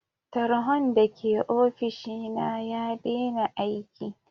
Tarhon da ke ofishi na ya dena aiki.